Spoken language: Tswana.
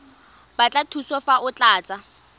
batla thuso fa o tlatsa